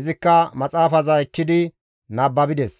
izikka maxaafaza ekkidi nababides.